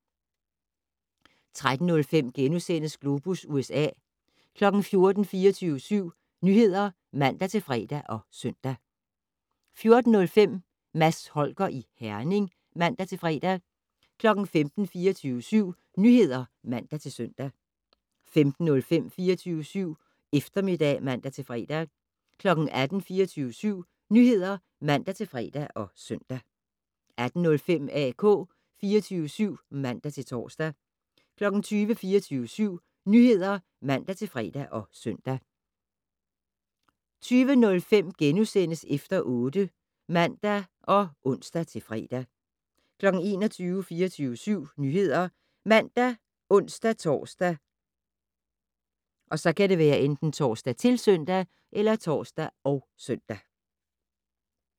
13:05: Globus USA * 14:00: 24syv Nyheder (man-fre og søn) 14:05: Mads Holger i Herning (man-fre) 15:00: 24syv Nyheder (man-søn) 15:05: 24syv Eftermiddag (man-fre) 18:00: 24syv Nyheder (man-fre og søn) 18:05: AK 24syv (man-tor) 20:00: 24syv Nyheder (man-fre og søn) 20:05: Efter 8 *(man og ons-fre) 21:00: 24syv Nyheder ( man, ons-tor, -søn)